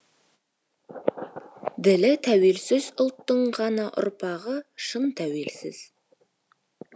ділі тәуелсіз ұлттың ғана ұрпағы шын тәуелсіз